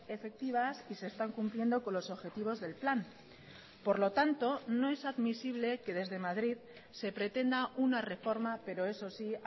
efectivas y se están cumpliendo con los objetivos del plan por lo tanto no es admisible que desde madrid se pretenda una reforma pero eso sí